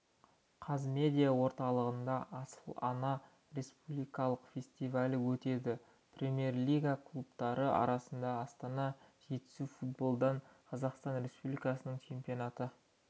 қазмедиа орталығында асыл ана республикалық фестивалі өтеді премер-лига клубтары арасындағы астана жетісу футболдан қазақстан республикасының чемпионаты